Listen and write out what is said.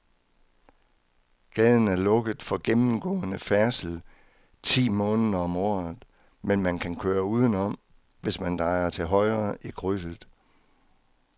Gaden er lukket for gennemgående færdsel ti måneder om året, men man kan køre udenom, hvis man drejer til højre i krydset.